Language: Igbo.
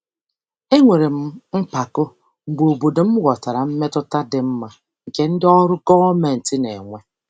Enwere m mpako mgbe obodo m ghọtara mmetụta dị mma nke ndị ọrụ gọọmentị na-enwe.